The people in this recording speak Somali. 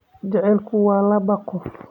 Jacaylku waa laba qof